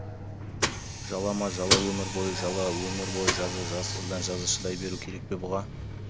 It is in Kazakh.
жала ма жала өмір бойы жала өмір бойы жаза жазықсыздан жаза шыдай беру керек пе бұға